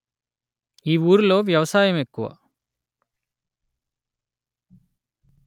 ఈ ఊరి లొ వ్యవసాయము ఎక్కువ